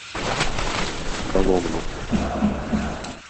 коломну